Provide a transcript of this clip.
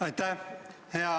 Aitäh!